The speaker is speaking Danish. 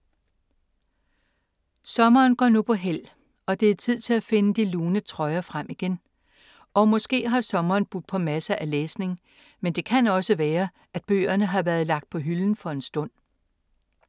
Sommeren går nu på hæld og det er tid til at finde de lune trøjer frem igen. Og måske har sommeren budt på masser af læsning, men det kan også være, at bøgerne har været lagt på hylden for en stund.